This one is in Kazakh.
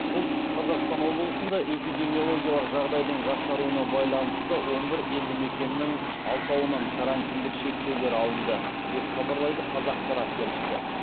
солтүстік қазақстан облысында эпидемиологиялық жағдайдың жақсаруына байланысты он бір елдімекеннің алтауынан карантиндік шектеулер алынды деп хабарлайды қазақпарат тілшісі